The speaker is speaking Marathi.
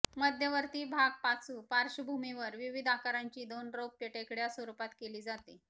मध्यवर्ती भाग पाचू पार्श्वभूमीवर विविध आकारांची दोन रौप्य टेकड्या स्वरूपात केली जाते